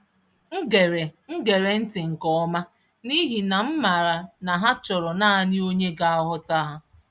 M gere M gere ntị nke ọma n’ihi na m maara na ha chọrọ naanị onye ga-aghọta ha.